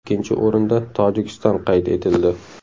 Ikkinchi o‘rinda Tojikiston qayd etildi.